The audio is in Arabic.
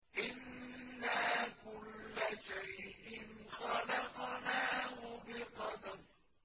إِنَّا كُلَّ شَيْءٍ خَلَقْنَاهُ بِقَدَرٍ